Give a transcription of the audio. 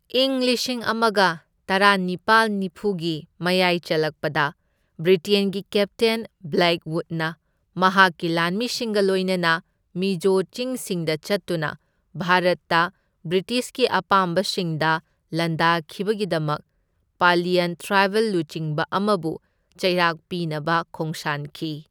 ꯢꯪ ꯂꯤꯁꯤꯡ ꯑꯃꯒ ꯇꯔꯥꯅꯤꯄꯥꯜ ꯅꯤꯐꯨꯒꯤ ꯃꯌꯥꯏ ꯆꯜꯂꯛꯄꯗ ꯕ꯭ꯔꯤꯇꯦꯟꯒꯤ ꯀꯦꯞꯇꯦꯟ ꯕ꯭ꯂꯦꯛꯋꯨꯗꯅ ꯃꯍꯥꯛꯀꯤ ꯂꯥꯟꯃꯤꯁꯤꯡꯒ ꯂꯣꯏꯅꯅ ꯃꯤꯖꯣ ꯆꯤꯡꯁꯤꯡꯗ ꯆꯠꯇꯨꯅ ꯚꯥꯔꯠꯇ ꯕ꯭ꯔꯤꯇꯤꯁꯀꯤ ꯑꯄꯥꯝꯕꯁꯤꯡꯗ ꯂꯥꯟꯗꯥꯈꯤꯕꯒꯤꯗꯃꯛ ꯄꯥꯂꯤꯌꯟ ꯇ꯭ꯔꯥꯏꯕꯦꯜ ꯂꯨꯆꯤꯡꯕ ꯑꯃꯕꯨ ꯆꯩꯔꯥꯛ ꯄꯤꯅꯕ ꯈꯣꯡꯁꯥꯟꯈꯤ꯫